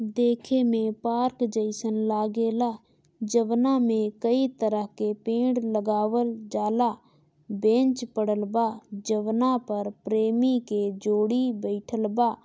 देखे में पार्क जैसन लागेला जवना में कई तरह के पेड़ लगवाल जाला बेंच पड़ल बा जवना पर प्रेमी के जोड़ी बैठल बा।